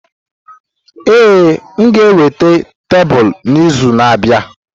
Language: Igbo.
Ee, m ga-eweta tebụl n'izu na-abịa.